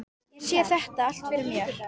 Ég sé þetta allt fyrir mér.